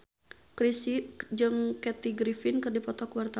Chrisye jeung Kathy Griffin keur dipoto ku wartawan